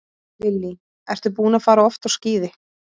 Lillý: Ertu búinn að fara oft á skíði?